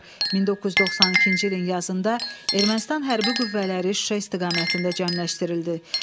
1992-ci ilin yazında Ermənistan hərbi qüvvələri Şuşa istiqamətində cəmləşdirildi.